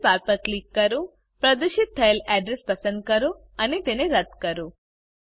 address bar પર click કરો પ્રદર્શિત થયેલ અડ્રેસ પસંદ કરો અને તેને રદ કરો